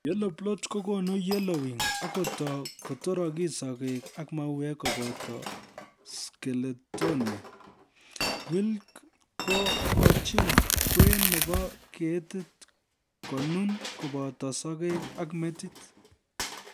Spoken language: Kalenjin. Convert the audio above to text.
Yellow blotch kokonu yellowing akotoi kotorokis sokek ak mauek koboto Sclerotinia .Wilt kokochin kwen nebo ketit konun koboto sokek ak metit